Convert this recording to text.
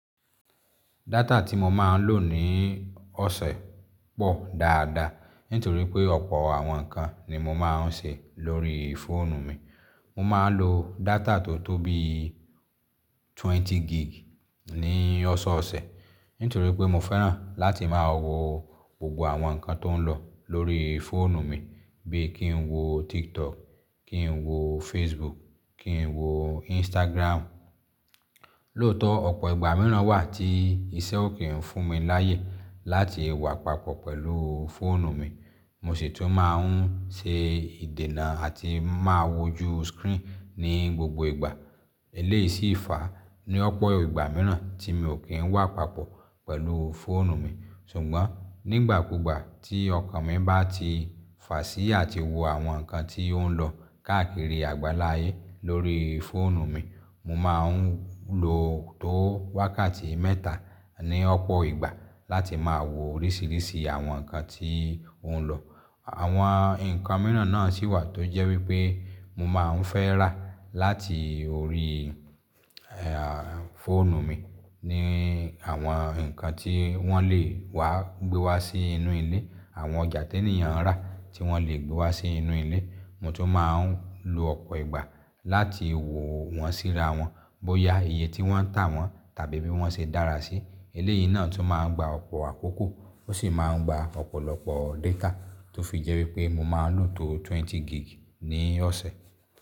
Data tí mo máa ń lò ní ọ̀sẹ̀ pọ̀ dáadáa, nítorí pé ọ̀pọ̀ àwọn nǹkan ni mo máa ń ṣe lórí fóònù mi. Mo máa ń lo data tó tó bíi twenty gig ní ọ̀sọ̀ọ̀sẹ̀, nítorí pé mo fẹ́ràn láti máa wo gbogbo àwọn nǹkan tó ń lọ lórí fóònù mi, bí i kí n wo TikTok, kí n wo Facebook, kí n wo Instagram. Lóòótọ́, ọ̀pọ̀ ìgbà mìíràn wà tí iṣẹ́ ò kí ń fún mi láyè láti wà papọ̀ pẹ̀lú fóònù mi, mo sì tún máa ń ṣe ìdènà àti máa wojú screen ní gbogbo ìgbà. Eléyìí sì fa ní ọ̀pọ̀ ìgbà mìíràn tí mi ò kí ń wà papọ̀ pẹ̀lú fóònù mi. Ṣùgbọ́n nígbàkúgbà tí ọkàn mi bá ti fà sí àti wo àwọn nǹkan tí ó ń lọ káàkiri àgbáláyé lórí fóònù mi, mo máa ń lo tó wákàtí mẹ́ta ní ọ̀pọ̀ ìgbà láti máa wo oríṣìíríṣìí àwọn nǹkan tí ó ń lọ. Àwọn nǹkan mìíràn náà sì wà tó jẹ́ wípé mo máa ń fẹ́ rà láti orí, ẹ́ à, fóònù mi ni àwọn nǹkan tí wọ́n lè wá gbé wá sí inú ilé, àwọn ọjà tí ènìyàn ń rà tí wọ́n lè gbé wá sí inú ilé, mo tún máa ń lo ọ̀pọ̀ ìgbà láti wo wọ́n síra wọn, bóyá iye tí wọ́n tà wọ́n tàbí bí wọ́n ṣe dára sí. Eléyìí náà tún máa ń gba ọ̀pọ̀ àkókò ó sì máa ń gba ọ̀pọ̀lọpọ̀ data, tó fi jẹ́ wípé mo máa ń lò tó twenty gig ní ọ̀sẹ̀.